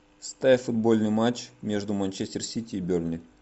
ставь футбольный матч между манчестер сити и бернли